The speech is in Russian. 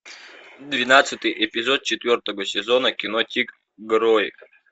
двенадцатый эпизод четвертого сезона кино тик герой